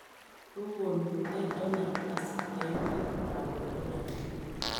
Kokon polet Donald Tusk en met ab Poland